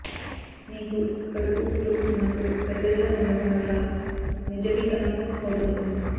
మీకు కడుపు ఫ్లూ వున్నప్పుడు పెద్దదిగా ఉండటం వల్ల నిర్జలీకరణం అవుతుంది